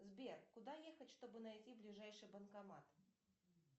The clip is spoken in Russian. сбер куда ехать чтобы найти ближайший банкомат